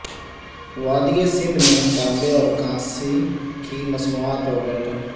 وادی سندھ میں تانبے اورکانسی کی مصنوعات اور برتن